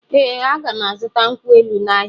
Ee, a ga m azụta nkwụ elụ n’ahịa.